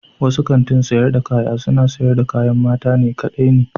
Wasu kantin sayar da kaya suna siyar da kayan mata kaɗai ne.